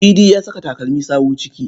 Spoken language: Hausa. Idi ya saka takalmin sawu ciki.